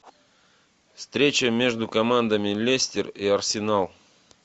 встреча между командами лестер и арсенал